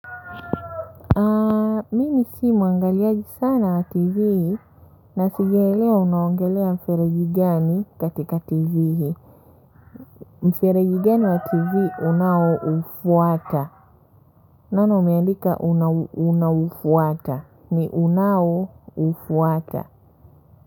Mimi si mwangaliaji sana wa tv na sijaelewa unaongelea mfereji gani katika tv mfereji gani wa tv unaoufuata naona umeandika unaufuata ni unaoufuata.